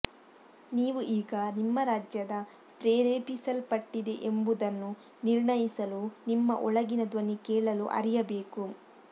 ನೀವು ಈಗ ನಿಮ್ಮ ರಾಜ್ಯದ ಪ್ರೇರೇಪಿಸಲ್ಪಟ್ಟಿದೆ ಎಂಬುದನ್ನು ನಿರ್ಣಯಿಸಲು ನಿಮ್ಮ ಒಳಗಿನ ಧ್ವನಿ ಕೇಳಲು ಅರಿಯಬೇಕು